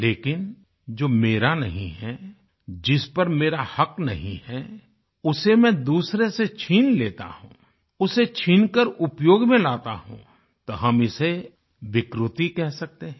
लेकिन जो मेरा नहीं है जिस पर मेरा हक़ नहीं है उसे मैं दूसरे से छीन लेता हूँ उसे छीनकर उपयोग में लाता हूँ तब हम इसे विकृति कह सकते हैं